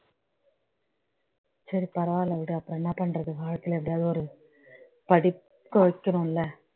சரி பரவாயில்லை விடு அப்புறம் என்ன பண்றது வாழ்க்கையில எப்படியாவது ஒரு படிக்க வைக்கணும் இல்ல